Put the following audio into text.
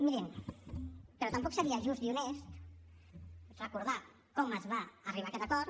mirin però tampoc seria just i honest recordar com es va arribar a aquest acord